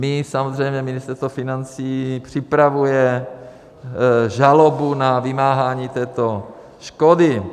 My samozřejmě, Ministerstvo financí, připravujeme žalobu na vymáhání této škody.